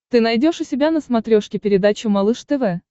ты найдешь у себя на смотрешке передачу малыш тв